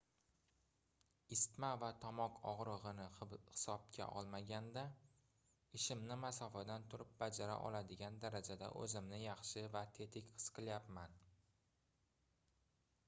isitma va tomoq ogʻrigʻini hisobga olmaganda ishimni masofadan turib bajara oladigan darajada oʻzimni yaxshi va tetik his qilyapman